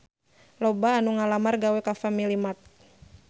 Loba anu ngalamar gawe ka Family Mart